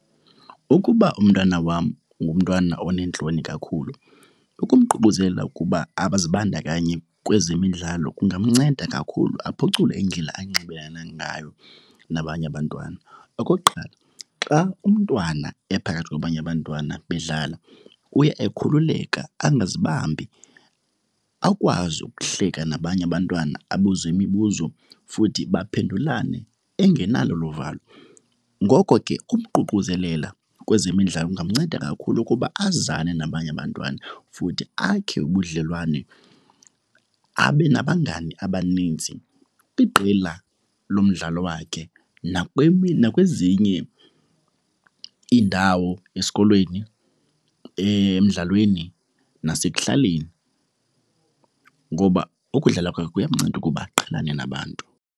Ukuba umntwana wam ngumntwana oneentloni kakhulu ukumququzelela ukuba abazibandakanyi kwezemidlalo kungamnceda kakhulu aphucule indlela anxibelana ngayo nabanye abantwana. Okokuqala xa umntwana ephakathi kwabanye abantwana bedlala kuya ekhululekile angazibambi, akwazi ukuhleka nabanye abantwana, abuze imibuzo futhi baphendulane engenalo olu valo. Ngoko ke umququzeleli kwezemidlalo kungamnceda kakhulu ukuba azane nabanye abantwana futhi akhe ubudlelwane, abe nabangani abaninzi kwiqela lo mdlalo wakhe nakwezinye iindawo esikolweni, emdlalweni nasekuhlaleni ngoba okudlala kwakhe kuyamnceda ukuba aqhelane nabantu.